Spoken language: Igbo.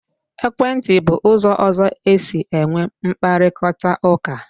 Ekwentị bụ ụzọ ọzọ e si enwe mkparịkọtaụka.